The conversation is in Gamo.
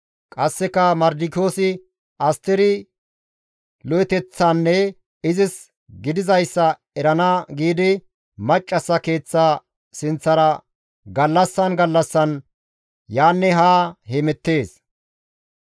Qasseka Mardikiyoosi Asteri lo7eteththanne izis gidizayssa erana giidi, maccassa keeththa sinththara gallassan gallassan yaanne haa hemettees.